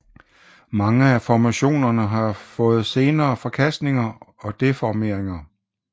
Mange af formationerne har fået senere forkastninger og deformeringer